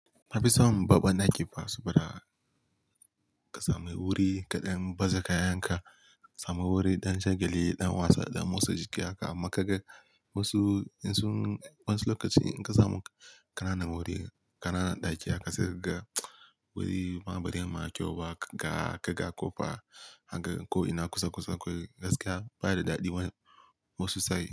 Na fi son babban ɗaki fa saboda ka sami wuri kaɗan, baza kayanka, sami wuri ɗan shagali, ɗan wasa, ɗan motsa jiki akai amma ka ga wasu, in sun wani lokaci in ka samu ƙananan wuri, ƙananan ɗaki akai sai ka ga wuri ma bari ma kyau ba ka ga, ka ga ƙofa haka ko ina kusa kusa akwai gaskiya ba daɗi wane wasu sai.